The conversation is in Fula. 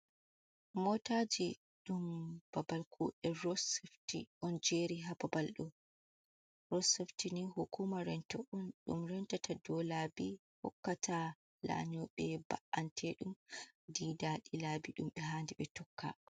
Mootaaji ɗo babal kuuɗe, ross sefti ɗon jeeri haa babal ɗo'o, ross cafti nii hukuuma rento on ɗum rentata dow laabi hokkata laanyooɓe ba’anteɗum dow laabi ɗum ɓe haandi ɓe tokka.